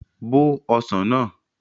Bó ọsàn náà!